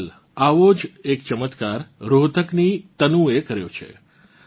અદલ આવો જ ચમત્કાર રોહતકની તનુએ કર્યો છે